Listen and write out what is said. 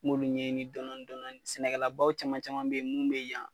N b'olu ɲɛɲini dɔnɔni dɔnɔni, sɛnɛkɛlabaw caman caman be ye mun be yan.